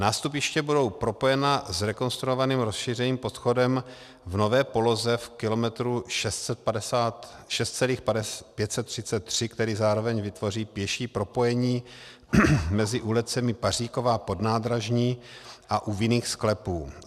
Nástupiště budou propojena zrekonstruovaným rozšířeným podchodem v nové poloze v kilometru 6,533, který zároveň vytvoří pěší propojení mezi ulicemi Paříkova, Podnádražní a U vinných sklepů.